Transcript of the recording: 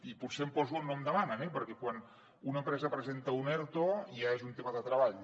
i potser em poso on no em demanen eh perquè quan una empresa presenta un erto ja és un tema de treball